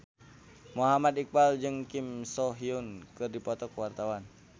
Muhammad Iqbal jeung Kim So Hyun keur dipoto ku wartawan